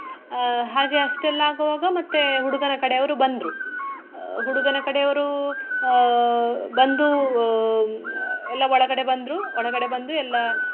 ಆಹ್ ಹಾಗೆ ಅಷ್ಟೆಲ್ಲ ಆಗುವಾಗ ಮತ್ತೆ ಹುಡುಗನ ಕಡೆಯವರು ಬಂದ್ರು. ಆಹ್ ಹುಡುಗನ ಕಡೆಯವರು ಆಹ್ ಬಂದು ಆಹ್ ಎಲ್ಲ ಒಳಗಡೆ ಬಂದ್ರು ಒಳಗಡೆ ಬಂದು ಎಲ್ಲ.